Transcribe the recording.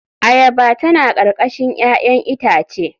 Ayaba tana karkashin 'ya'yan itace.